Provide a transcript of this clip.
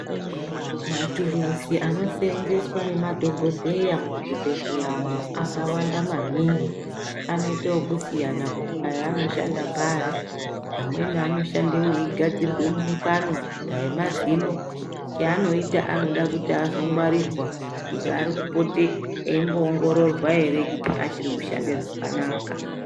Mathuruzi ano seenzeswa ngemadhokodheya muzvi bhedhleya umo, akawanda maningi. Anoite ekusiyana kuti aya anoshanda pari. Amweni anoshanda weigadzirwe mukanwa, dai mazino. Chaanoita anoda kuti azongwarirwa kuti apote eimbo ongororwa ere kuti achiri kushande zvakanaka.